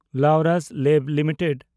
Laurus Labs limited